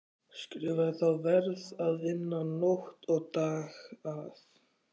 Skrifaði þá: Verð að vinna nótt og dag að